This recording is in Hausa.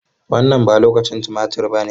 Wannan ba lokacin tumatir ba ne.